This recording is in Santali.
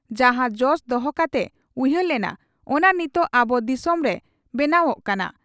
ᱡᱟᱦᱟᱸ ᱡᱚᱥ ᱫᱚᱦᱚ ᱠᱟᱛᱮ ᱩᱭᱦᱟᱹᱮ ᱞᱮᱱᱟ, ᱚᱱᱟ ᱱᱤᱛᱚᱜ ᱟᱵᱚ ᱫᱤᱥᱚᱢ ᱨᱮ ᱵᱮᱱᱟᱣᱜ ᱠᱟᱱᱟ ᱾